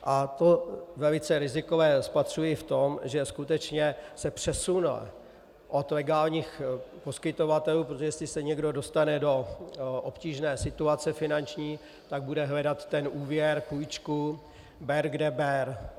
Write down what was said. A to velice rizikové spatřuji v tom, že skutečně se přesune od legálních poskytovatelů, protože jestli se někdo dostane do obtížné situace finanční, tak bude hledat ten úvěr, půjčku, ber kde ber.